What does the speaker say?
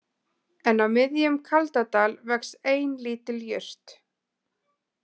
En á miðjum Kaldadal vex ein lítil jurt